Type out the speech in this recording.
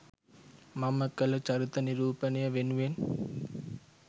මම කළ චරිත නිරූපණය වෙනුවෙන්